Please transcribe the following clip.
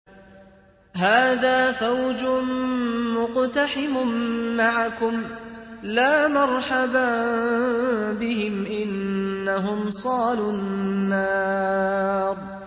هَٰذَا فَوْجٌ مُّقْتَحِمٌ مَّعَكُمْ ۖ لَا مَرْحَبًا بِهِمْ ۚ إِنَّهُمْ صَالُو النَّارِ